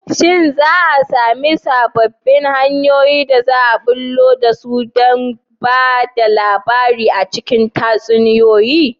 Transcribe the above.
Shin za a sami sababbin hanyoyin da za a bullo da su don ba da labari a cikin tatsuniyoyi?